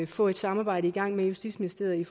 få et samarbejde i gang med justitsministeriet